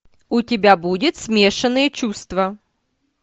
у тебя будет смешанные чувства